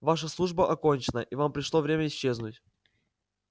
ваша служба окончена и вам пришло время исчезнуть